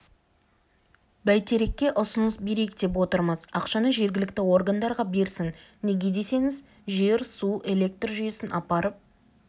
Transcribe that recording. бәйтерекке ұсыныс берейік деп отырмыз ақшаны жергілікті органдарға берсін неге десеңіз жер су электр жүйесін апарып